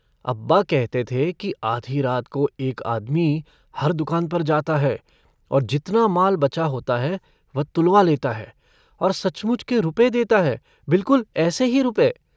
अब्बा कहते थे कि आधी रात को एक आदमी हर दुकान पर जाता है और जितना माल बचा होता है वह तुलवा लेता है और सचमुच के रुपये देता है बिलकुल ऐसे ही रुपये।